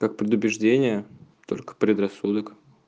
как предубеждение только предрассудок